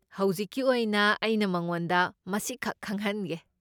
ꯍꯧꯖꯤꯛꯀꯤ ꯑꯣꯏꯅ ꯑꯩꯅ ꯃꯉꯣꯟꯗ ꯃꯁꯤꯈꯛ ꯈꯪꯍꯟꯒꯦ꯫